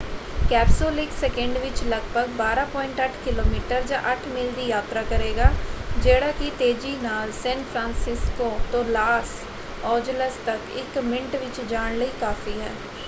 Capsule ਇੱਕ second ਵਿੱਚ ਲੱਗਭਗ 12.8 ਕਿਲੋਮੀਟਰ ਜਾਂ 8 ਮੀਲ ਦੀ ਯਾਤਰਾ ਕਰੇਗਾ ਜਿਹੜਾ ਕਿ ਤੇਜੀ ਨਾਲ ਸੈਨ ਫ੍ਰਾਂਸਿਸਕੋ ਤੋਂ ਲਾਸ ਏੰਜਲਸ ਤੱਕ ਇੱਕ ਮਿੰਟ ਵਿੱਚ ਜਾਣ ਲਈ ਕਾਫ਼ੀ ਹੈ।